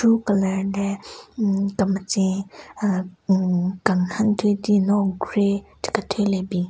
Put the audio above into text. Ro colour le hmm kemetsen ahh umm kenhen thyu din no grey che kethyü le bin.